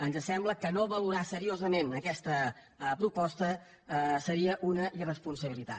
ens sembla que no valorar seriosament aquesta proposta seria una irresponsabilitat